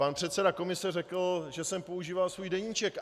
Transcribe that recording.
Pan předseda komise řekl, že jsem používal svůj deníček.